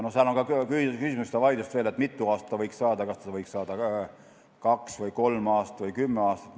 Veel on küsimuse ja vaidluse all, mitu aastat ta võiks saada, kas ta võiks saada kaks või kolm aastat või kümme aastat.